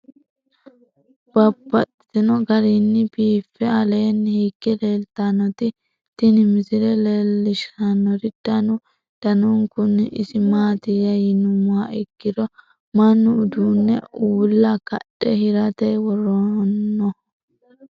Babaxxittinno garinni biiffe aleenni hige leelittannotti tinni misile lelishshanori danu danunkunni isi maattiya yinummoha ikkiro mannu uduunne uulla kadhe hiratte woroonnoho.